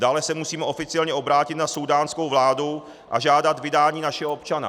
Dále se musíme oficiálně obrátit na súdánskou vládu a žádat vydání našeho občana.